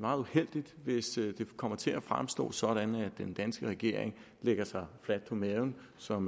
meget uheldigt hvis det kommer til at fremstå sådan at den danske regering lægger sig fladt på maven som